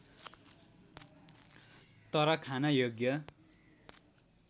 तर खान योग्य